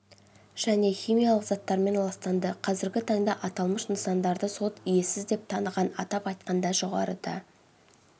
және химиялық заттармен ластанды қазіргі таңда аталмыш нысандарды сот иесіз деп таныған атап айтқанда жоғарыда